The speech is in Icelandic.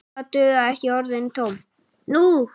Nú duga ekki orðin tóm.